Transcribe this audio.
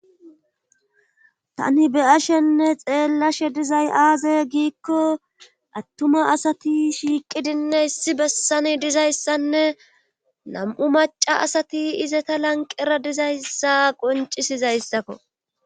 Tani beyashenne xeellashe dizay aaze giikko attuma asati shiiqidinne issi bessani dizayssanne nam'u maca asati izata lanqera dizayssa qoncisizayssakko.